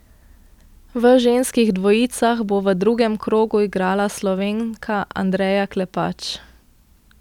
V ženskih dvojicah bo v drugem krogu igrala Slovenka Andreja Klepač.